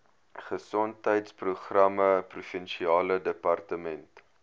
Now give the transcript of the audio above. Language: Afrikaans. gesondheidsprogramme provinsiale departement